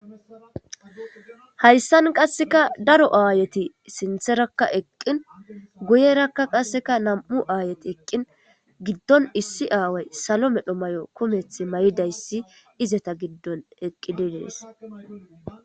Hayssan qasseka daro aayeti sintherakka eqqin guyerakka qasseka nam'u aayet eqqin giddon issi aaway salo medho may'o kumeth may'idayssi izata giddon eqqididees.